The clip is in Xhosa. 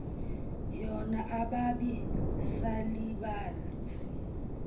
yona ababi salibazi